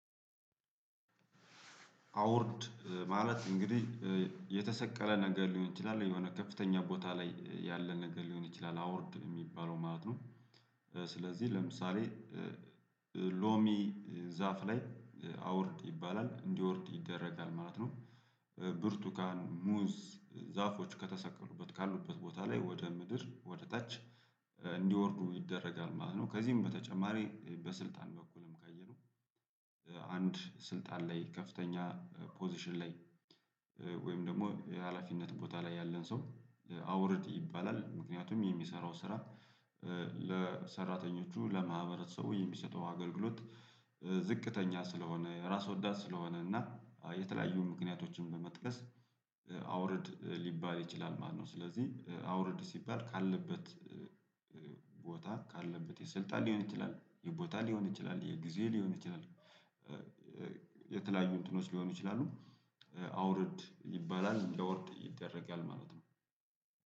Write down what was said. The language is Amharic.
አውርድ ማለት እንግዲህ የተሰቀለ ነገር ሊሆን ይችላል የሆነ ከፍተኛ ቦታ ላይ ያለ ነገር ሊሆን ይችላል አውርድ የሚባለው ማለት ነው። ስለዚህ ለምሳሌ ሎሚ ዛፍ ላይ አውርድ ይባላል እንዲወርድ ይደረጋል ማለት ነው። ብርቱካን ሙዝ ዛፎች ከተሰቀሉበት ካሉበት ቦታ ላይ ወደ ምድር ወደ ታች እንዲወርዱ ይደረጋል ማለት ነው። ከዚህም በተጨማሪ በስልጣን በኩልም ካየነው። አንድ ስልጣን ላይ ከፍተኛ ፖዚሽን ላይ ወይም ደግሞ የሀላፊነት ቦታ ላይ ያለን ሰው አውርድ ይባላል። ምክንያቱም የሚሰራው ስራ ለሰራተኞቹ ለማህበረሰቡ የሚሰጠው አገልግሎት ዝቅተኛ ስለሆነ ራስ ወዳድ ስለሆነ እና የተለያዩ ምክንያቶችን በመጥቀስ አውርድ ሊባል ይችላል ማለት ነው። ስለዚህ አውርድ ሲባል ካለበት ካለበት የስልጣን ሊሆን ይችላል የቦታ ሊሆን ይችላል የጊዜ ሊሆን ይችላል። የተለያዩ እንትኖች ሊሆኑ ይችላሉ አውርድ ይባላል እንዲያወርድ ይደረጊያል ማለት ነው።